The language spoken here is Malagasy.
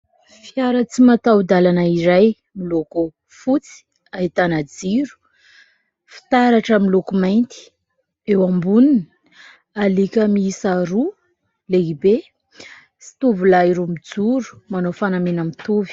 Fiara tsy mataho-dalana iray miloko fotsy ahitana jiro fitaratra miloko mainty, eo amboniny alika miisa roa lehibe sy tovolahy roa mijoro manao fanamiana mitovy.